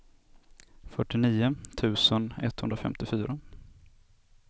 fyrtionio tusen etthundrafemtiofyra